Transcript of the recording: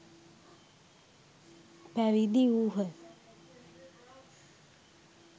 පැවිදි වූහ.